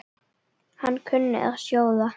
Hann kunni að sjóða.